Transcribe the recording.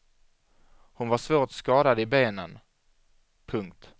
Hon var svårt skadad i benen. punkt